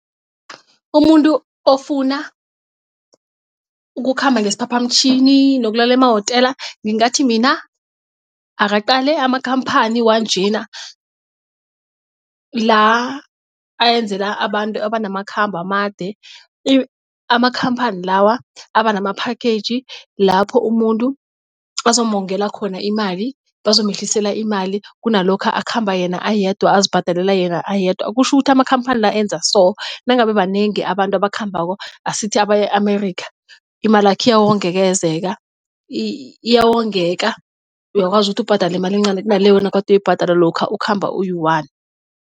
Umuntu ofuna ukukhamba ngesiphaphamtjhini nokulala emawotela ngingathi mina akaqale amakhamphani wanjena la ayenzela abantu abanamakhhabo amade amakhamphani lawa abanama-package lapho umuntu bazomongela khona imali bazomehlisela imali kunalokha akhamba yena ayedwa azibhadalela yena ayedwa. Kutjho ukuthi amakhamphani la enza so nangabe banengi abantu abakhambako asithi abaya-Amerika imalakho iyawongekezeka iyawongeka uyakwazi ukuthi ubhadale imali encani kunale wena kade uyibhadala lokha ukhamba uyi-one.